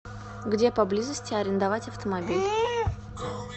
где поблизости арендовать автомобиль